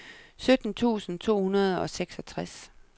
sytten tusind to hundrede og seksogtres